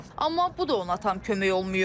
Amma bu da ona tam kömək olmayıb.